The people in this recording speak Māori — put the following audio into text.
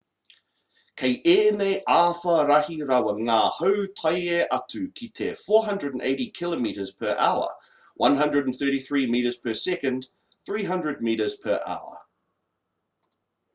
kei ēnei āwhā rahi rawa ngā hau tae atu ki te 480 km/h 133 m/s; 300m/h